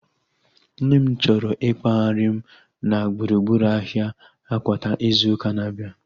Nne m chọrọ ikpoghari m na gburugburu ahia Akwata izu ụka na-abịa